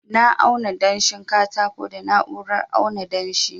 na auna danshin katakon da na'urar auna danshi